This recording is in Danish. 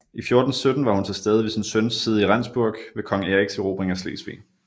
I 1417 var hun tilstede ved sin søns side i Rendsburg ved kong Eriks erobring af Slesvig